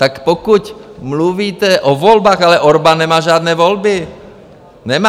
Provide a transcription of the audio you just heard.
Tak pokud mluvíte o volbách - ale Orbán nemá žádné volby, nemá.